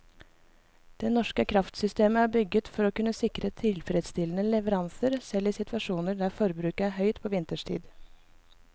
Det norske kraftsystemet er bygget for å kunne sikre tilfredsstillende leveranser selv i situasjoner der forbruket er høyt på vinterstid.